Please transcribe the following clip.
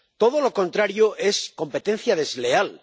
Todo lo contrario es competencia desleal.